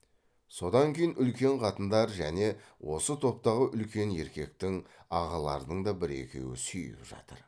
содан кейін үлкен қатындар және осы топтағы үлкен еркектің ағалардың да бір екеуі сүйіп жатыр